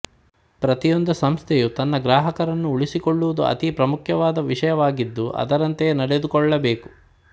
ಪ್ರತಿಯೊಂದು ಸಂಸ್ಥೆಯು ತನ್ನ ಗ್ರಹಕರನ್ನು ಉಳಿಸಿಕೊಳ್ಳುವುದು ಅತೀ ಪ್ರಾಮುಖ್ಯದ ವಿಶಯ್ವಾಗಿದ್ದು ಅದರಂತೆಯೇ ನಡೆದುಕೊಳ್ಳಬೇಕು